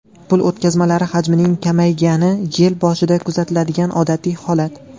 Pul o‘tkazmalari hajmining kamaygani yil boshida kuzatiladigan odatiy holat.